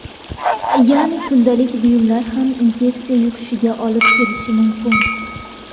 Ya’ni kundalik buyumlar ham infeksiya yuqishiga olib kelishi mumkin.